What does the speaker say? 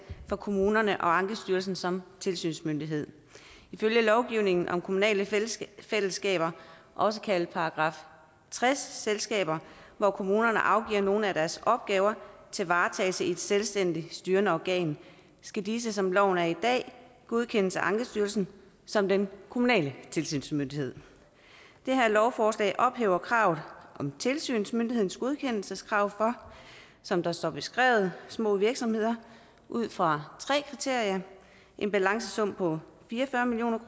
for kommunerne og ankestyrelsen som tilsynsmyndighed ifølge lovgivningen om kommunale fællesskaber også kaldet § tres selskaber hvor kommunerne afgiver nogle af deres opgaver til varetagelse i et selvstændigt styrende organ skal disse som loven er i dag godkendes af ankestyrelsen som den kommunale tilsynsmyndighed det her lovforslag ophæver kravet om tilsynsmyndighedens godkendelseskrav for som det står beskrevet små virksomheder ud fra tre kriterier en balancesum på fire og fyrre million